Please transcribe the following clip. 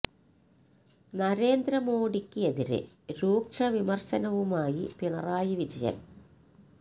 നരേന്ദ്ര മോഡിക്ക് എതിരെ രൂക്ഷ വിമര്ശന വുമായി പിണറായി വിജയന്